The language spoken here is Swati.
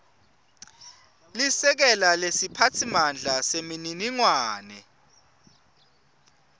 lisekela lesiphatsimandla semininingwane